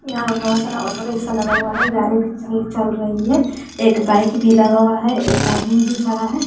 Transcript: यहां पे बहोत सारा ऑटोरिक्शा लगा हुआ है गाड़ी भी चल चल रही है एक बाइक भी लगा हुआ है एक आदमी भी खड़ा है।